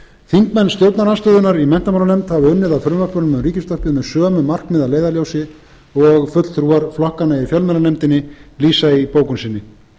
þingmenn stjórnarandstöðunnar í menntamálanefnd hafa unnið að frumvörpunum um ríkisútvarpið með sömu markmið að leiðarljósi og fulltrúar flokkanna í fjölmiðlanefndinni lýsa í bókun sinni